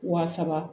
Wa saba